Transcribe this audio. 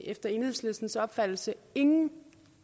efter enhedslistens opfattelse ingen